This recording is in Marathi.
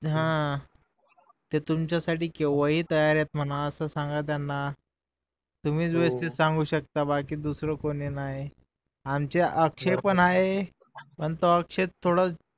हम्म ते तुमच्या साठी केव्हा पण तैय्यार आहे असं सांगा त्याना तुम्हीच व्यवस्थित सांगू शकता बाकी दुसरं कोणी नाही आमचा अक्षय पण आहे पण तो तो अक्षय थोडं